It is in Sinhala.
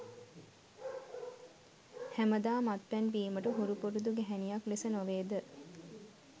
හැමදා මත්පැන් බීමට හුරු පුරුදු ගැහැණියක් ලෙස නොවේද?